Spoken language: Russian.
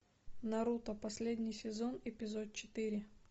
наруто последний сезон эпизод четыре